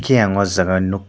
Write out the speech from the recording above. eiang aw jaaga o nuk.